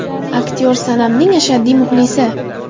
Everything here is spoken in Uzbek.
Aktyor Sonamning ashaddiy muxlisi.